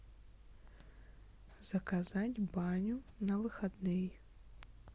заказать баню на выходные